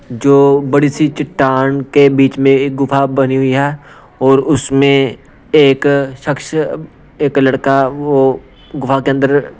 जो बड़ी सी चट्टान के बीच में एक गुफा बनी हुई है और उसमें एक शख्स एक लड़का वह गुफा के अंदर --